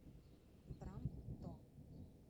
брамптон